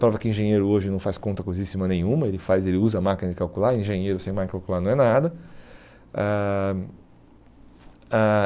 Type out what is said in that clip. Prova que engenheiro hoje não faz conta coisíssima nenhuma, ele faz ele usa máquina de calcular, engenheiro sem máquina de calcular não é nada. Ãh ãh